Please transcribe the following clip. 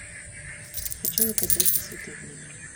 хочу заказать цветы в номер